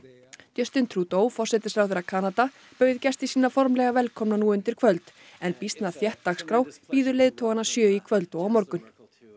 justin Trudeau forsætisráðherra Kanada bauð gesti sína formlega velkomna nú undir kvöld en býsna þétt dagskrá bíður leiðtoganna sjö í kvöld og á morgun